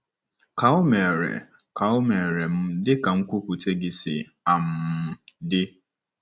Ka o meere Ka o meere m dị ka nkwupụta gị si um dị.”